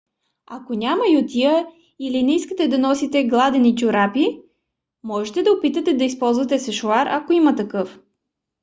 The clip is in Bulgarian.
ако няма ютия или не искате да носите гладени чорапи можете да опитате да използвате сешоар ако има такъв